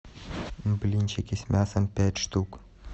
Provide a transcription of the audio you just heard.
блинчики с мясом пять штук